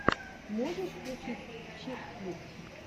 можешь включить чик флик